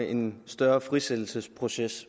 en større frisættelsesproces